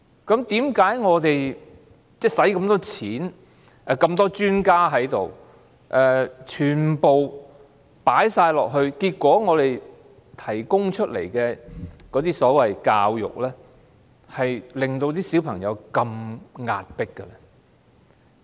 為甚麼我們耗用大量公帑及聘請眾多專家投入教育，結果我們提供的教育卻令小朋友感到壓迫？